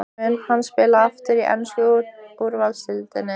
Mun hann spila aftur í ensku úrvalsdeildinni?